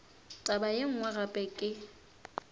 taba ye nngwe gape ke